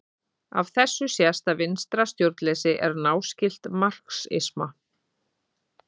Af þessu sést að vinstra stjórnleysi er náskylt marxisma.